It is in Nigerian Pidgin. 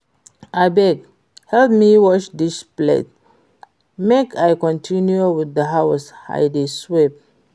Abeg help me wash dis plate make I continue with the house I dey sweep